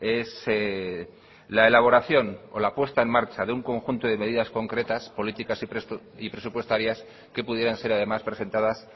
es la elaboración o la puesta en marcha de un conjunto de medidas concretas políticas y presupuestarias que pudieran ser además presentadas